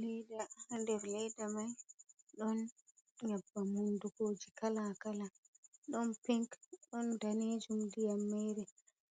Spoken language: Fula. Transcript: Leeda, haa nder leeda mai ɗon nyebbam hundukooji kala- kala, ɗon pinc ɗon daneejum nder mai,